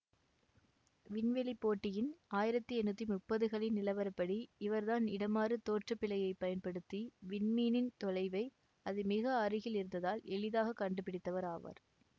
விண்வெளிப்போட்டியின் ஆயிரத்தி எண்ணூற்றி முப்பதுகளில் நிலவரப்படி இவர்தான் இடமாறு தோற்றப்பிழையைப் பயன்படுத்தி விண்மீனின் தொலைவை அது மிக அருகில் இருந்ததால் எளிதாக கண்டுபிடித்தவர் ஆவார்